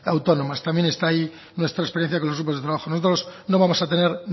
autónomas también está ahí nuestra experiencia con los grupos de trabajo nosotros no vamos a tener